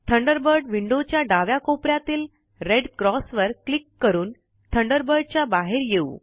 Thunderbird window च्या डाव्या कोपेऱ्यातील रेड क्रॉस वर क्लिक करून थंडरबर्ड च्या बाहेर येऊ